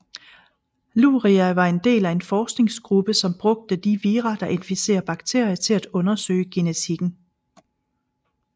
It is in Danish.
Luria var en del af en forskningsgruppe som brugte de vira der inficerer bakterier til at undersøge genetikken